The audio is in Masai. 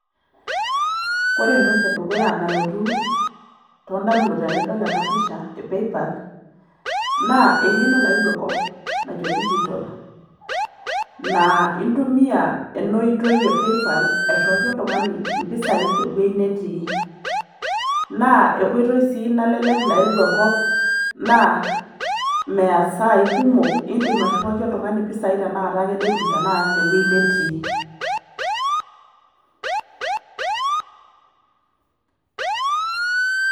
Wore entoki edukuya nalotu too ndamunot tenidol ena pisha e PayPal, naa eng'eno nayewuo enkop najo digital. Naa intumia ena oitoi e PayPal airriwaki oltung'ani impisai tewoji netii. Naa enkoitoi sii nalelek nayewuo enkop naa meya isai kumok iindim airriwaki oltung'ani impisai tenakata ake netum tenakata tewoji netii.